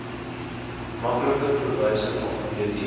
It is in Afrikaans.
maklike verwysing alfabeties